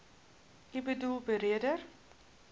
u boedel beredder